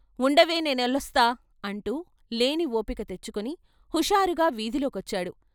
"ఉండవే నే యెళ్లొస్తా" అంటూ లేని ఓపిక తెచ్చుకుని హుషారుగా వీధిలోకొచ్చాడు.